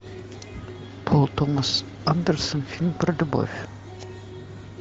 пол томас андерсон фильм про любовь